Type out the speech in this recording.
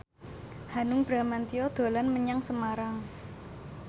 Hanung Bramantyo dolan menyang Semarang